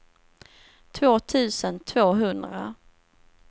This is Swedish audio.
två tusen tvåhundra